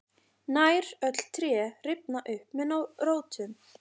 nær öll tré rifna upp með rótum